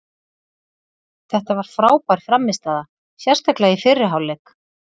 Þetta var frábær frammistaða sérstaklega í fyrri hálfleik.